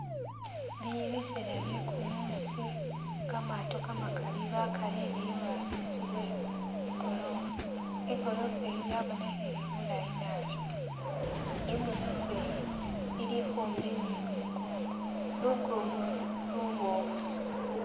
Bili biseela bye'kumuusi kamaato kamakaali bakalere iburangisi we igorofa, igorofa iyi yabonekhele bulaayi naabi, igorofa iyi ili khumbi ni lunkongo, lunkongolu luboofu